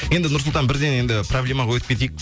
енді нұрсұлтан бірден енді проблемаға өтіп кетейік